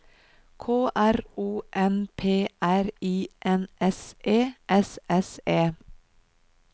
K R O N P R I N S E S S E